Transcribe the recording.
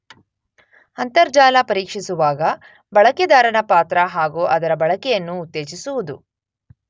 ಅಂತರ್ಜಾಲ ಪರೀಕ್ಷಿಸುವಾಗ ಬಳಕೆದಾರನ ಪಾತ್ರ ಹಾಗು ಅದರ ಬಳಕೆಯನ್ನು ಉತ್ತೇಜಿಸುವುದು.